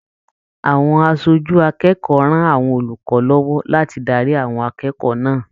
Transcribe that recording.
Àwọn aṣojú akẹ́kọ̀ọ́ rán àwọn olùkọ lọwọ láti darí àwọn akẹ́kọ̀ọ́ náà.